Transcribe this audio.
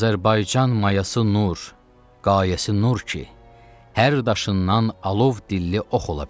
Azərbaycan mayası nur, qayəsi nur ki, hər daşından alov dilli ox ola bilər.